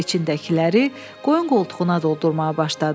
İçindəkiləri qoyun qoltuğuna doldurmağa başladı.